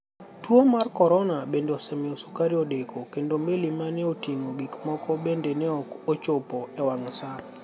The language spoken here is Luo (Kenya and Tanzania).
Tuo mar coronia benide osemiyo sukari odeko kenido meli mani e otinigo gik mamoko benide ni e ok ochopo e wanig' Saa.